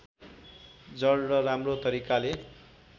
जड र राम्रो तरिकाले